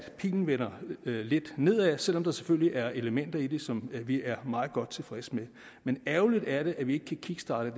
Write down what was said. pilen vender lidt nedad selv om der selvfølgelig er elementer i det som vi er meget godt tilfredse med men ærgerligt er det at vi ikke kan kickstarte